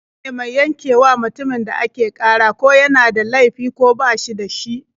Alƙali shine mai yankewa mutumin da ake ƙara ko yana da laifi ko ba shi da shi.